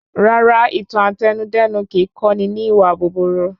Rara, ìtàn Àtẹnudẹ́nu kìí kọ́ni ní ìwà búburú